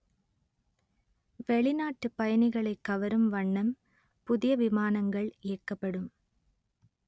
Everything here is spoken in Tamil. வெளிநாட்டுப் பயணிகளை கவரும் வண்ணம் புதிய விமானங்கள் இயக்கப்படும்